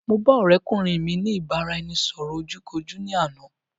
Mo ba ọ̀rẹ́kùnrin mi ní ìbáraẹnisọ̀rọ̀ ojú kojú ní àná